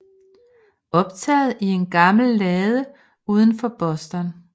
Optaget i en gammel lade uden for Boston